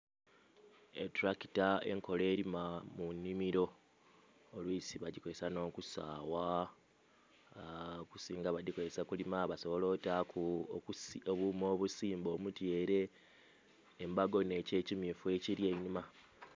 Etulakita enkola erima mu nnhimiro olwisi bagikozesa nh'okusagha, okusinga badhikozesa kulima - basobola otaku obuuma obusimba omutyere. Embago nh'ekyo ekimyufu ekiri einhuma.